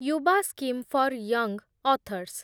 Yuva scheme for young authors